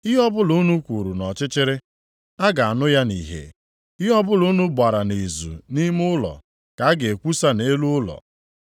Ihe ọbụla unu kwuru nʼọchịchịrị, a ga-anụ ya nʼihe, ihe ọbụla unu gbara nʼizu nʼime ụlọ ka a ga-ekwusa nʼelu ụlọ.